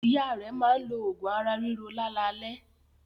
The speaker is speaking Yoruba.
Ìyá rẹ̀ máa ń lo oògùn ara-ríro lálalẹ́.